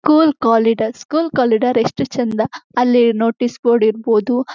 Cool corridors school corridor ಎಷ್ಟು ಚಂದ ಅಲ್ಲಿ ನೋಟೀಸ್ ಬೋರ್ಡ್ ಇರ್ಬೋದು.